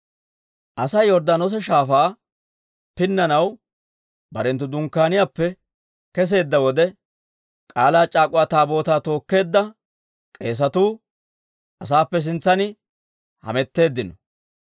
Asay Yorddaanoosa Shaafaa pinnanaw barenttu dunkkaaniyaappe kesseedda wode, K'aalaa c'aak'uwa Taabootaa tookkeedda k'eesatuu asaappe sintsan hametteeddino.